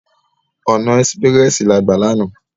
Òná èsipirèsi lá gbá làná